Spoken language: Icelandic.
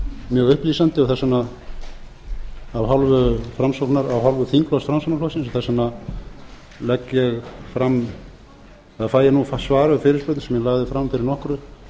mjög upplýsandi og þess vegna af hálfu þingflokks framsóknarflokksins þess vegna fæ ég nú það svar við fyrirspurn sem ég lagði fram fyrir nokkru